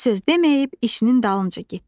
Bir söz deməyib işinin dalınca getdi.